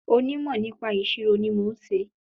Onímò nípa ìṣirò ni mo n ṣe